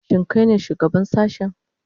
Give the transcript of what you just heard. Shin kai ne shugaban sashen?